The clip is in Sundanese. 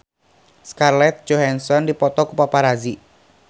Scarlett Johansson dipoto ku paparazi